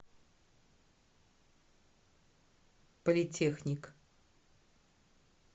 политехник